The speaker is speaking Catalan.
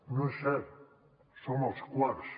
no és cert som els quarts